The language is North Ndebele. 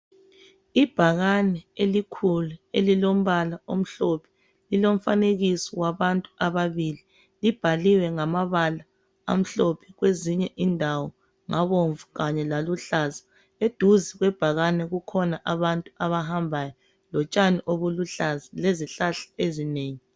Ibhakani elikhulu elilombala omhlophe lilomfanekiso wabantu ababili libhaliwe ngamabala amhlophe kwezinye indawo ngabomvu kanye laluhlaza eduze kwebhakani kukhona abantu abahambayo lotshani obuluhlaza lezihlahla ezinengi.